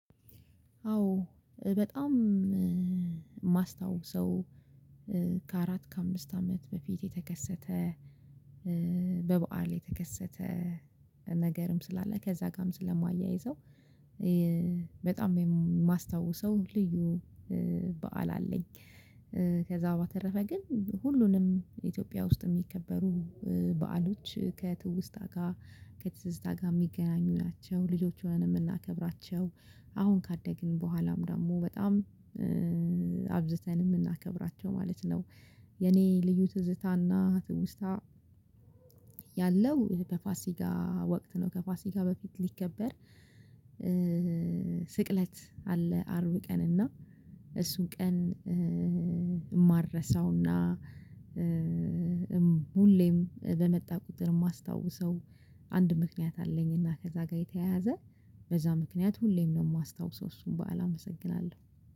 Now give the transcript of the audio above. አዎ በጣም ማስታዉሰው ከአራት ከአምስት አመት በፊት የተከሰተ በበዓል የተከሰተ ነገርም ስላለ ከዛ ጋርም ስለማያይዘው በጣም የማስታውሰው ልዩ በዓል አለኝ። ከዛ በተረፈ ግን ሁሉንም ኢትዮጵያ ውስጥ የሚከበሩ በዓሎች ከትውስታ ጋር ከትዝዝታ ጋር የሚገናኙ ናቸው ልጆች ሆነን የምናከብራቸው አሁን ካደግን በኋላም ደግሞ በጣም አብዝተን የምናከብራቸው ማለት ነው። የኔ ልዩ ትዝታና ትውስታ ያለው ከፋሲጋ ወቅት ነው። ከፋሲጋ በፊት ሊከበር ስቅለት አለ። አርብ ቀን እና እሱን ቀን። ማረሳውና ሁሌም በመጣ ቁጥር የማስታውሰው አንድ ምክንያት አለኝ። እና ከዛ ጋር የተያያዘ በዛ ምክንያት ሁሌም ነው የማስታውሰው እሱን በዓል አመሰግናለሁ።